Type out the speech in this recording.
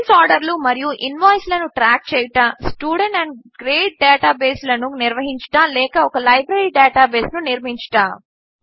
sales ఆర్డర్లు మరియు ఇన్వాయిస్లను ట్రాక్ చేయుట స్టూడెట్న్ గ్రేడ్ డేటాబేసులను నిర్వహించుట లేక ఒక లైబ్రరీ డేటాబేసును నిర్మించుట